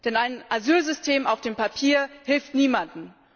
Denn ein Asylsystem auf dem Papier hilft niemandem.